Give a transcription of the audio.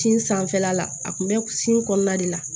Tin sanfɛla la a kun bɛ sin kɔnɔna de la